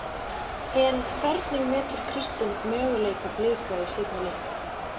En hvernig metur Kristinn möguleika Blika í seinni leiknum?